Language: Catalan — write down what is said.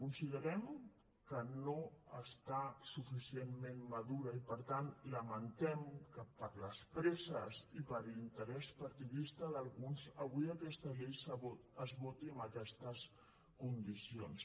considerem que no està suficientment madura i per tant lamentem que per les presses i per l’interès partidista d’alguns avui aquesta llei es voti en aquestes condicions